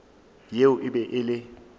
yeo e be e le